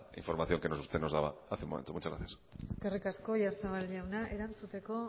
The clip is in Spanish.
información que nos daba hace un momento muchas gracias eskerrik asko oyarzabal jauna erantzuteko